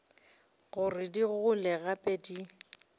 gore di gole gape di